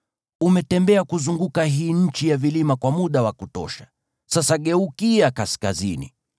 “Umetembea kuzunguka hii nchi ya vilima kwa muda wa kutosha; sasa geukia kaskazini.